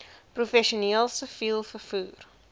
professioneel siviel vervoer